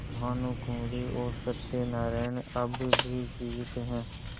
भानुकुँवरि और सत्य नारायण अब भी जीवित हैं